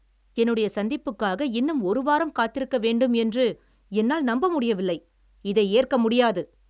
என்னுடைய சந்திப்புக்காக இன்னும் ஒரு வாரம் காத்திருக்க வேண்டும் என்று என்னால் நம்ப முடியவில்லை. இதை ஏற்க முடியாது.